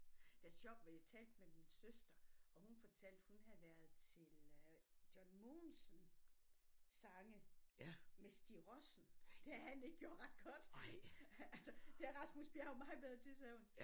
Det er sjovt fordi jeg talte med min søster og hun fortalte hun havde været til øh John Mogensen sange med Stig Rossen det havde han ikke gjort ret godt altså det er Rasmus Bjerg meget bedre til sagde hun